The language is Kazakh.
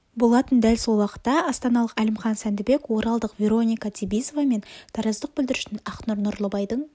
болатын дәл сол уақытта астаналық әлімхан сәндібек оралдық вероника цибизова мен тараздық бүлдіршін ақнұр нұрлыбайдың